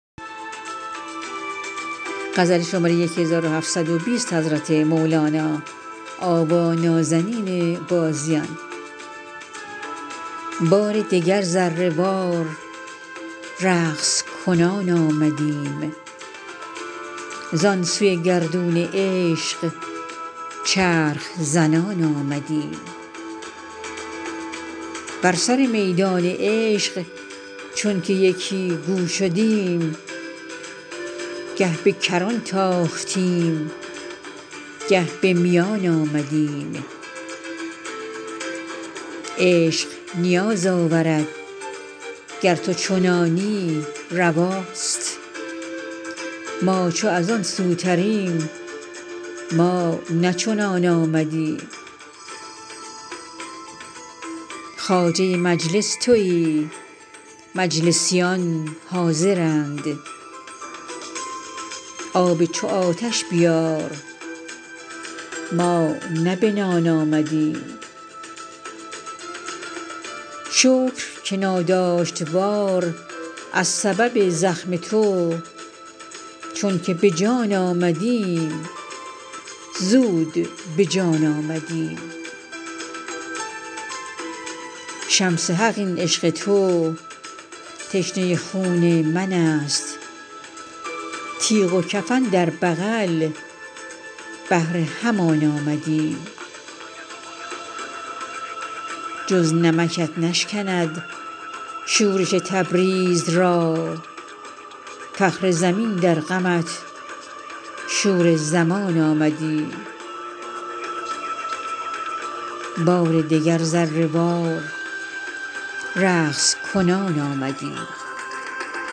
بار دگر ذره وار رقص کنان آمدیم زان سوی گردون عشق چرخ زنان آمدیم بر سر میدان عشق چونک یکی گو شدیم گه به کران تاختیم گه به میان آمدیم عشق نیاز آورد گر تو چنانی رواست ما چو از آن سوتریم ما نه چنان آمدیم خواجه مجلس توی مجلسیان حاضرند آب چو آتش بیار ما نه بنان آمدیم شکر که ناداشت وار از سبب زخم تو چون که به جان آمدیم زود به جان آمدیم شمس حق این عشق تو تشنه خون من است تیغ و کفن در بغل بهر همان آمدیم جز نمکت نشکند شورش تبریز را فخر زمین در غمت شور زمان آمدیم